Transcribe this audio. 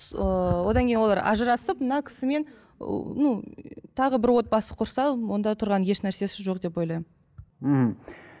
ыыы одан кейін олар ажырасып мына кісімен ну ы тағы бір отбасы құрса онда тұрған еш нәрсесі жоқ деп ойлаймын мхм